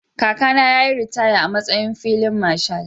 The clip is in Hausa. Kakana ya yi ritaya a matsayin filin Marshal.